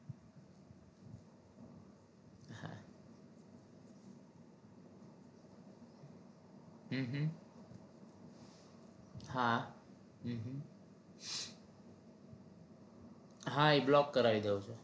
હા એ block કરાવી દેવું છે